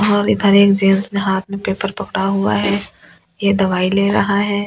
और इधर एक जेन्स ने हाथ में पेपर पकड़ा हुआ है ये दवाई ले रहा है।